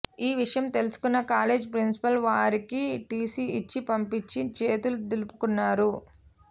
ఈ విషయం తెలుసుకున్న కాలేజీ ప్రిన్సిపాల్ వారికి టీసీ ఇచ్చి పంపించి చేతులు దులుపుకున్నారు